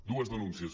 dues denúncies